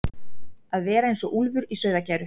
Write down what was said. að vera eins og úlfur í sauðargæru